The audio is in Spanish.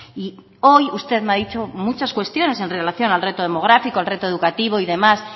y hoy usted me ha dicho muchas cuestiones en relación al reto demográfico al reto educativo y demás